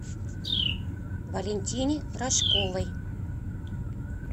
валентине рожковой